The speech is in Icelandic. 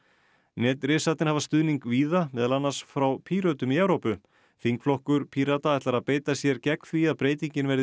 netrisarnir hafa stuðning víða meðal annars frá Pírötum í Evrópu þingflokkur Pírata ætlar að beita sér gegn því að breytingin verði